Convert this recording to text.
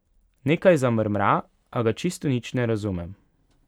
Nekaj zamrmra, a ga čisto nič ne razumem.